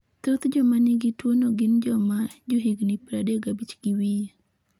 Thoth joma nigi tuwono gin joma johigni 35 gi wiye.